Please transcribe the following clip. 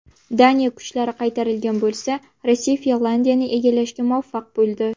Daniya kuchlari qaytarilgan bo‘lsa, Rossiya Finlandiyani egallashga muvaffaq bo‘ldi.